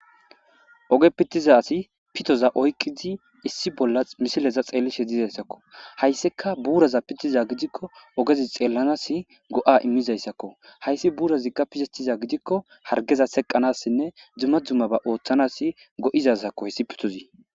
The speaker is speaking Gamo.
Ooge pitiza asi pitoza oykidii issi bolla misileza xellishe dizayssakko hayssikka buuraza pitiza gidikko oogezii xellanasii go'a iimmizayssakko hayssi buurazikka pitetiza gidikkokka harggezateqanasinne dumma dummabata ooththanas go'izayssakko hayssi pitozi